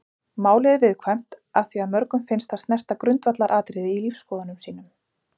Málið er viðkvæmt af því að mörgum finnst það snerta grundvallaratriði í lífsskoðunum sínum.